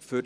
Die